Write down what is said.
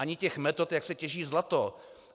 Ani těch metod, jak se těží zlato.